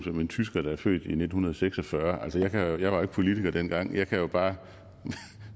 som en tysker der er født i nitten seks og fyrre altså jeg var jo ikke politiker dengang jeg kan bare